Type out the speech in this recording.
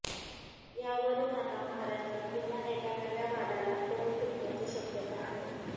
यावरून आता महाराष्ट्रात पुन्हा एका नव्या वादाला तोंड फुटण्याची शक्यता आहे